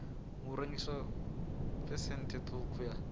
ha rengiswa phesenthe ṱhukhu ya